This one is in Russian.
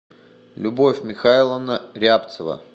любовь михайловна рябцева